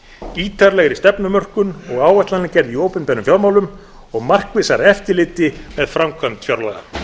ítarlegri stefnumörkun og áætlanagerð í opinberum fjármálum og markvissara eftirlit með framkvæmd fjárlaga